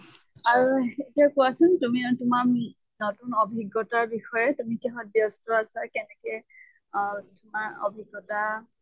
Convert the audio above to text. আৰু এতিয়া কোৱাচোন তুমি তোমাৰ নতুন অভিজ্ঞ্তাৰ বিষয়ে। তুমি কিহত ব্য়স্ত আছা কেনেনে অহ তোমাৰ অভিজ্ঞ্তা